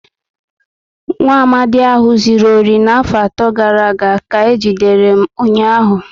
Nwaamadi ahụ zụrụ ohi na afo ato gàrà aga ka eji dere ụnyaahụ